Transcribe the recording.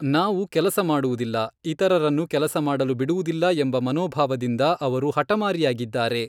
ನಾವು ಕೆಲಸ ಮಾಡುವುದಿಲ್ಲ, ಇತರರನ್ನು ಕೆಲಸ ಮಾಡಲು ಬಿಡುವುದಿಲ್ಲ ಎಂಬ ಮನೋಭಾವದಿಂದ ಅವರು ಹಠಮಾರಿಯಾಗಿದ್ದಾರೆ.